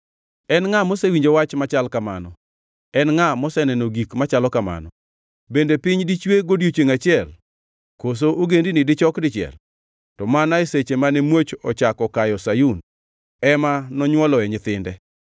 En ngʼa mosewinjo wach machal kamano? En ngʼa moseneno gik machalo kamano? Bende piny dichwe godiechiengʼ achiel koso ogendini dichok dichiel? To mana e seche mane muoch ochako kayo Sayun ema nonywoloe nyithinde.